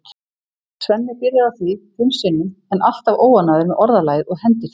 Svenni byrjar á því fimm sinnum en er alltaf óánægður með orðalagið og hendir því.